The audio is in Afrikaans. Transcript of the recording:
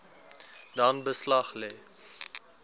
dan beslag lê